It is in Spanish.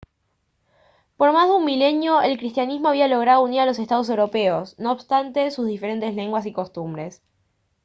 por más de un milenio el cristianismo había logrado unir a los estados europeos no obstante sus diferentes lenguas y costumbres